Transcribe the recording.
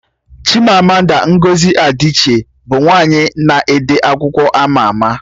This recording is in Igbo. Chimamanda Ngozi Adichie bụ nwaanyị na-ede akwụkwọ ama ama